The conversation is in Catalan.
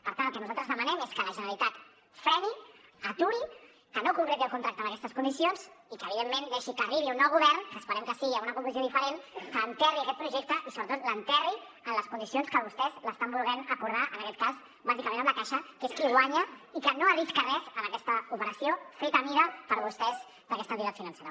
per tant el que nosaltres demanem és que la generalitat freni aturi que no concreti el contracte en aquestes condicions i que evidentment deixi que arribi un nou govern que esperem que sigui amb una composició diferent que enterri aquest projecte i sobretot l’enterri en les condicions que vostès l’estan volent acordar en aquest cas bàsicament amb la caixa que és qui guanya i que no arrisca res en aquesta operació feta a mida per vostès per a aquesta entitat financera